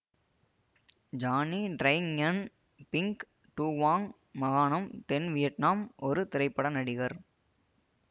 Johnny Tri ஙுயென் Binh Duong மாகாணம் தென் வியட்நாம் ஒரு திரைப்பட நடிகர்